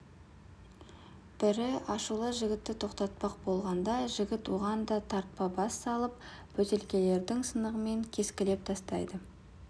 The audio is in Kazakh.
бірі ашулы жігітті тоқтатпақ болғанда жігіт оған да тарпа бас салып бөтелкенің сынығымен кескілеп тастайды